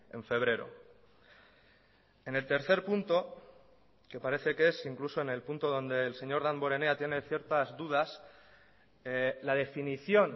en febrero en el tercer punto que parece que es incluso en el punto donde el señor damborenea tiene ciertas dudas la definición